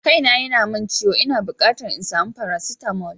Kaina yana min ciwo, ina bukatar in sami faracetamol.